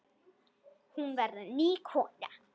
Hún verður ný kona.